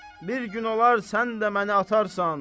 Bir gün olar sən də məni atarsan.